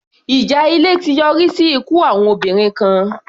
Ìjà ilé ti yọrí sí ikú àwọn obìnrin kan.